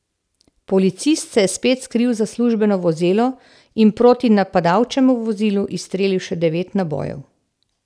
Policist se je spet skril za službeno vozilo in proti napadalčevemu vozilu izstrelil še devet nabojev.